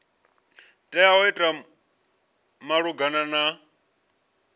tea u ita malugana na